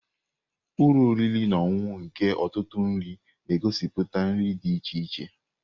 Ụlọ oriri na ọṅụṅụ nke ọtụtụ nri na-egosiputa nri dị iche iche.